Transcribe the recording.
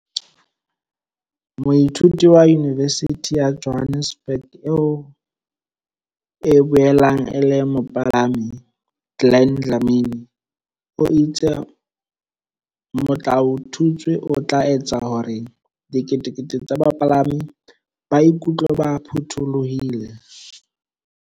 Moithuti wa Yunivesithi ya Johannesburg eo e boelang e le mopalami, Glen Dlamini o itse motlaotutswe o tla etsa hore diketekete tsa bapalami ba iku tlwe ba phuthulohile.